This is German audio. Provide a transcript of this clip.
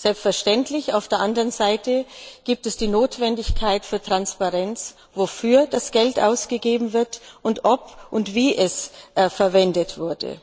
Selbstverständlich gibt es auf der anderen Seite die Notwendigkeit der Transparenz, wofür das Geld ausgegeben wird und ob und wie es verwendet wurde.